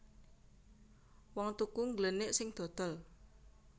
Wong tuku ngglenik sing dodol